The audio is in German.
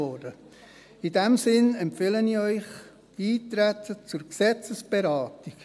In diesem Sinne empfehle ich Ihnen Eintreten auf die Gesetzesberatung.